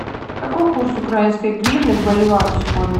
какой курс украинской гривны к боливару сегодня